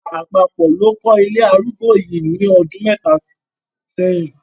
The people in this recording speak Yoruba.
Ìjọba àpapọ̀ ló kọ́ ilé arúgbó yìí ní ọdún mẹ́ta sẹ́yìn.